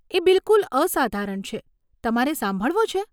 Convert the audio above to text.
એ બિલકુલ અસાધારણ છે, તમારે સાંભળવો છે?